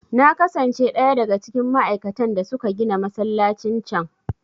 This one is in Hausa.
Na kasance ɗaya daga cikin ma'aikatan da suka gina masallacin can.